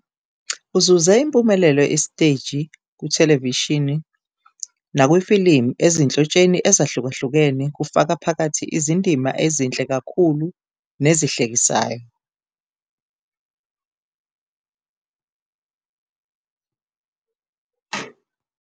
Uzuze impumelelo esiteji, kuthelevishini nakwifilimu ezinhlotsheni ezahlukahlukene kufaka phakathi izindima ezinhle kakhulu nezihlekisayo.